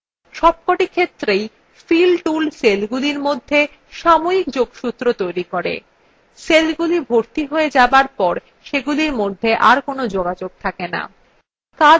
সবকটি ক্ষেত্রেই fill tool সেলগুলির মধ্যে সাময়িক যোগসূত্র তৈরী করে সেলগুলি ভর্তি হয়ে যাবার পর সেগুলির মধ্যে are কোনো যোগাযোগ থাকে no